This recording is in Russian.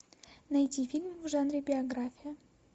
найти фильм в жанре биография